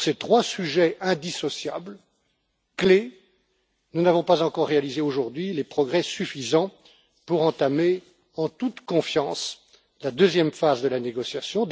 ces trois sujets clés indissociables, nous n'avons pas encore réalisé aujourd'hui de progrès suffisants pour entamer en toute confiance la deuxième phase de la négociation.